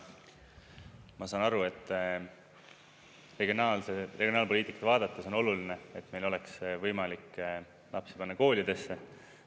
Ma saan aru, et regionaalpoliitikat vaadates on oluline, et meil oleks võimalik lapsi panna koolidesse.